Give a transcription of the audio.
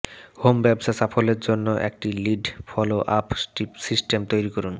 home ব্যবসা সাফল্যের জন্য একটি লিড ফলো আপ সিস্টেম তৈরি করুন